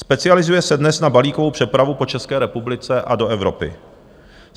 Specializuje se dnes na balíkovou přepravu po České republice a do Evropy.